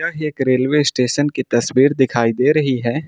एक railway station की तस्वीर दिखाई दे रही है।